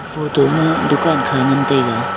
photo ma dukan kha ngan taiga.